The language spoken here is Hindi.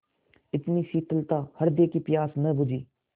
इतनी शीतलता हृदय की प्यास न बुझी